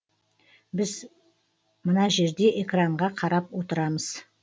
біз мына жерде экранға қарап отырамыз